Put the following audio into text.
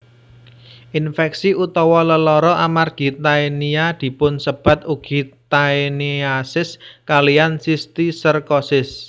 Infeksi utawa lelara amargi Taenia dipunsebat ugi Taeniasis kaliyan Sistiserkosis